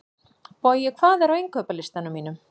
Bogi, hvað er á innkaupalistanum mínum?